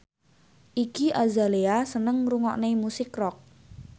Iggy Azalea seneng ngrungokne musik rock